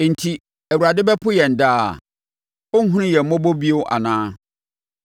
“Enti, Awurade bɛpo yɛn daa? Ɔrenhunu yɛn mmɔbɔ bio anaa?